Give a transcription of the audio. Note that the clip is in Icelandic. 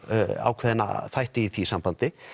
ákveðna þætti í því sambandi